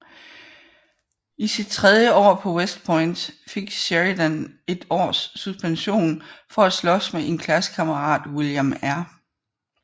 I sit tredje år på West Point fik Sheridan et års suspension for at slås med en klassekammerat William R